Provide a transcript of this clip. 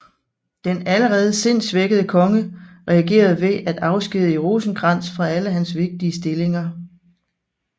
Den allerede sindssvækkede konge reagerede ved at afskedige Rosenkrantz fra alle hans vigtige stillinger